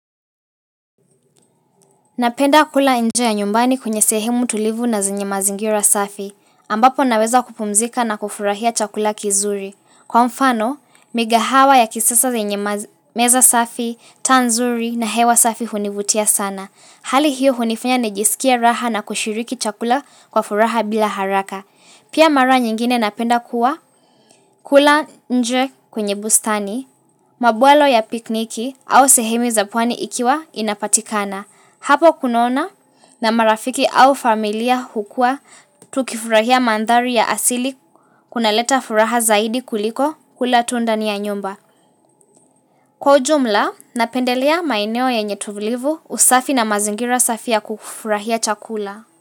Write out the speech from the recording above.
Napenda kula nje ya nyumbani kunye sehemu tulivu na zinye mazingira safi, ambapo naweza kupumzika na kufurahia chakula kizuri. Kwa mfano, migahawa ya kisisa zinye meza safi, tanzuri na hewa safi hunivutia sana. Hali hiyo hunifanya nejisikia raha na kushiriki chakula kwa furaha bila haraka. Pia mara nyingine napenda kuwa kula nje kunye bustani, mabualo ya pikniki au sehemu zapwani ikiwa inapatikana. Hapo kunona na marafiki au familia hukua tukifurahia mandhari ya asili kuna leta furaha zaidi kuliko hula tundani ya nyumba. Kwa ujumla, napendelea maeneo yenye tulivu usafi na mazingira safi ya kufurahia chakula.